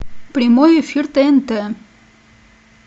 прямой эфир тнт